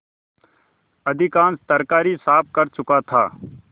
अधिकांश तरकारी साफ कर चुका था